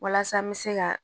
Walasa n bɛ se ka